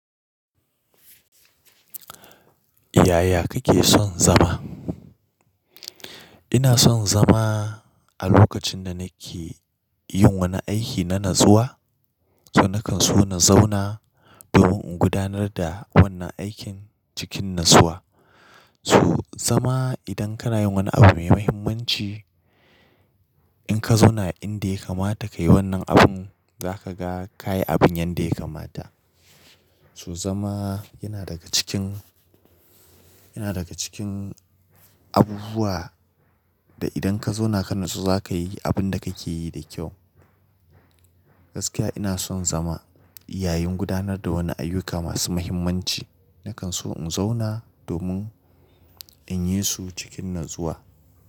Yaya kake son zama? Ina son zama a lokacin da nake yin wani aiki na natsuwa. To na kan so na zauna domin in gudanar da wannan aikin cikin natsuwa. To zama idan kana yin wani abu mai muhimmanci, in ka zauna inda ya kamata ka yi wannan abun, za ka ga ka yi abin yanda ya kamata. So zama yana daga cikin, yana daga cikin abubuwa da idan ka zauna ka nutsu za ka yi abun da kake yi da kyau. Gaskiya ina son zama yayin gudanar da wani ayyuka masu muhimmanci. Na kan so in zauna domin in yi su cikin natsuwa.